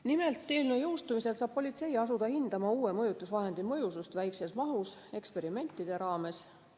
Nimelt, eelnõu jõustumisel saab politsei asuda hindama uue mõjutusvahendi mõjusust väikeses mahus eksperimentide raames.